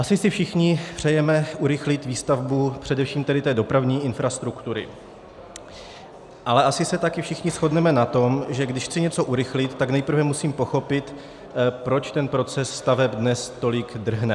Asi si všichni přejeme urychlit výstavbu především tedy té dopravní infrastruktury, ale asi se také všichni shodneme na tom, že když chci něco urychlit, tak nejprve musím pochopit, proč ten proces staveb dnes tolik drhne.